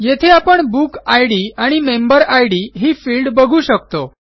येथे आपण book ID आणि मेंबर इद ही फिल्ड बघू शकतो